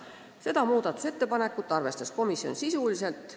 Seda muudatusettepanekut arvestas komisjon sisuliselt.